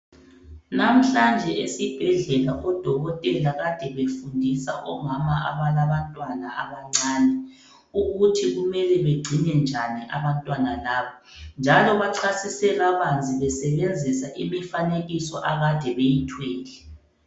Namhlanje esibhedlela udokotela kade befundisa omama abalabantwana abancane ukuthi kumele bagcine njani abantwana laba njalo bachasise kabanzi besebenzisa imifanekiso akade beyithwele.